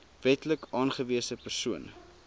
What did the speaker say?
wetlik aangewese persoon